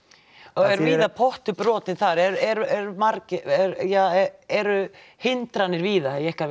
er víða pottur brotinn þar eru eru hindranir víða á ykkar